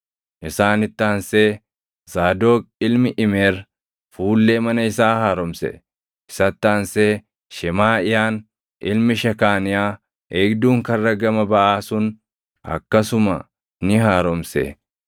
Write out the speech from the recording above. Isaanitti aansee Zaadoq ilmi Imeer fuullee mana isaa haaromse. Isatti aansee Shemaaʼiyaan ilmi Shekaaniyaa eegduun Karra gama Baʼaa sun akkasuma ni haaromse.